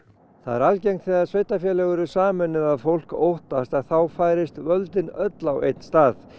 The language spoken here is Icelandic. það er algengt þegar sveitarfélög eru sameinuð að fólk óttast að þá færist völdin öll á einn stað